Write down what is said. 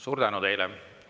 Suur tänu teile!